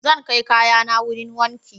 Zan kai kayana wurin wanki.